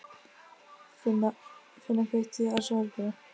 Finna, kveiktu á sjónvarpinu.